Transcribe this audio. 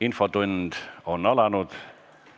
Infotund on alanud.